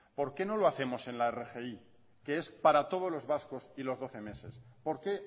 por qué no lo hacemos en la rgi que es para todos los vascos y los doce meses por qué